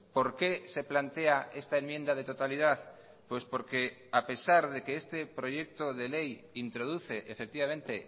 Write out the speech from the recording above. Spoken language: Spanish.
por qué se plantea esta enmienda de totalidad pues porque a pesar de que este proyecto de ley introduce efectivamente